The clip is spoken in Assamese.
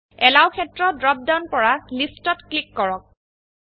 এলৱ ক্ষেত্ৰৰ ড্ৰপ ডাউন পৰা Listত ক্লিক কৰক